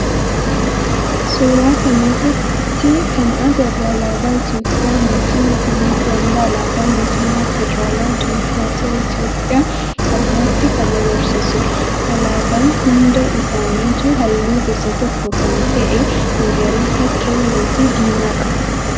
Suuraa kana irratti kana agarru alaabaa Itiyoophiyaa mootii Yohaannisii hanga alaabaa mootummaa federaalawaa diimookraatawaa Itiyoophiyaa ammatti kan agarsiisudha. Alaabaan hunda isaaniituu halluu gosa tokko kan ta'e magariisa, keelloo fi diimaa qabu.